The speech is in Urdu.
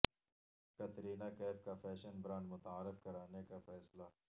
کترینہ کیف کا فیشن برانڈ متعارف کرانے کا فیصلہ